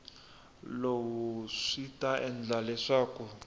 lowu swi ta endla leswaku